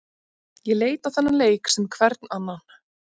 Ég leit á þennan leik sem hvern annan.